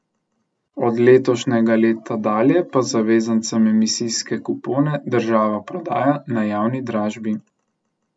Od letošnjega leta dalje pa zavezancem emisijske kupone država prodaja na javni dražbi.